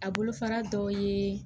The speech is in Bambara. A bolofara dɔ ye